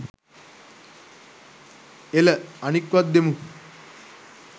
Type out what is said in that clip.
එල අනික්වත් දෙමු